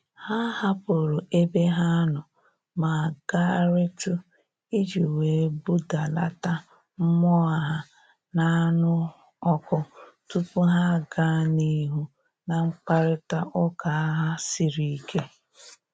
Ha hapụrụ ebe ha nọ ma gagharịtụ iji wee budalata mmụọ ha na-anụ ọkụ tupu ha gaa n'ihu na mkparịta ụka ha siri ike